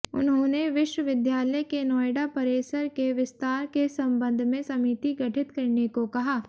उन्होंने विश्वविद्यालय के नोएडा परिसर के विस्तार के संबंध में समिति गठित करने को कहा